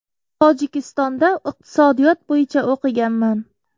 Tojikistonda iqtisodiyot bo‘yicha o‘qiganman.